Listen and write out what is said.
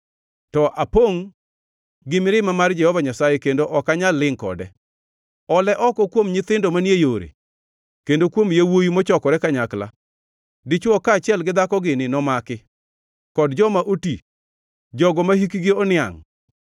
To apongʼ gi mirima mar Jehova Nyasaye, kendo ok anyal lingʼ kode. “Ole oko kuom nyithindo manie yore, kendo kuom yawuowi mochokore kanyakla; dichwo kaachiel gi dhako gini nomaki, kod joma oti, jogo mahikgi oniangʼ.